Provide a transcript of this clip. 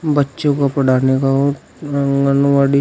बच्चों को पढ़ाने का आंगनवाड़ी--